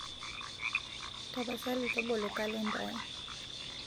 tapasali tobolo kalenda aai